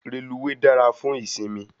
Reluwe dára fún ìsimi